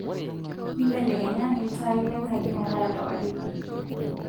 imbelekenya iltaai lenkaji meetaa lewaridi